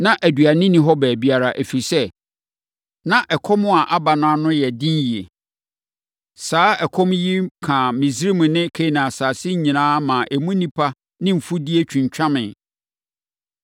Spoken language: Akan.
Na aduane nni hɔ baabiara, ɛfiri sɛ, na ɛkɔm a aba no ano ayɛ den yie. Saa ɛkɔm yi kaa Misraim ne Kanaan asase nyinaa maa emu nnipa ne mfudeɛ twintwameeɛ.